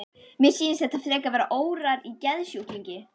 Mér sýnist þetta frekar vera órar í geðsjúklingi.